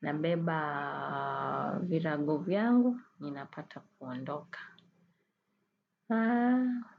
nabeba virago vyangu, ninapata kuondoka.